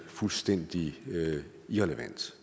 fuldstændig irrelevant